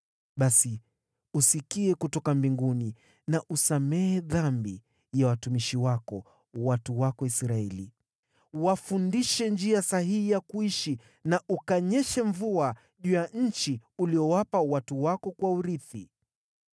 basi usikie kutoka mbinguni na usamehe dhambi ya watumishi wako, watu wako Israeli. Wafundishe njia sahihi ya kuishi na ukanyeshe mvua juu ya nchi uliyowapa watu wako kuwa urithi.